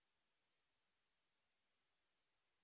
এই বিষয় বিস্তারিত তথ্যের জন্য contactspoken tutorialorg তে ইমেল করুন